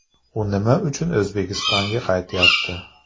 U nima uchun O‘zbekistonga qaytayapti?.